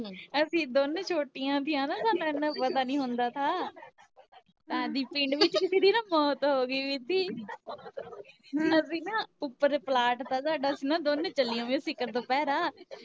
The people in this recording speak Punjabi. ਅਸੀਂ ਦੋਨੇ ਛੋਟੀਆਂ ਥੀਆਂ ਨਾ ਸਾਨੂੰ ਏਨਾ ਪਤਾ ਨੀ ਹੁੰਦਾ ਥਾ ਤਾਂ ਪਿੰਡ ਵਿੱਚ ਕਿਸੀ ਦੀ ਨਾ ਮੌਤ ਹੋ ਗਈ ਵੀ ਥੀ ਅਸੀਂ ਨਾ ਉੱਪਰ ਪਲਾਟ ਤਾ ਸਾਡਾ ਅਸੀਂ ਨਾ ਦੋਨੋ ਚੱਲੀਆ ਹੋਈਆਂ ਸਿਖਰ ਦੁਪਹਿਰਾ